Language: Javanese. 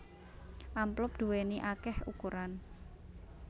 Amplop duwèni akéh ukuran